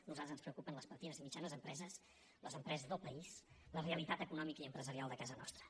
a nosaltres ens preocupen les petites i mitjanes empreses les empreses del país la realitat econòmica i empresarial de casa nostra